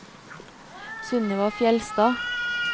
Sunniva Fjellstad